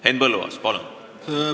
Henn Põlluaas, palun!